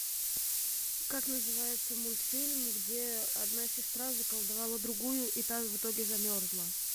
как называется мультфильм где одна сестра заколдовала другую и та в итоге замерзла